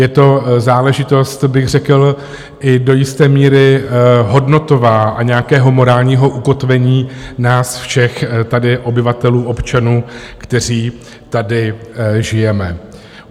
Je to záležitost bych řekl i do jisté míry hodnotová a nějakého morálního ukotvení nás všech, tedy obyvatelů, občanů, kteří tady žijeme.